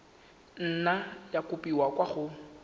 nna ya kopiwa kwa go